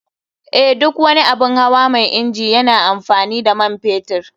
Eh, duk wani abun hawa mai inji yana amfani da man fetur.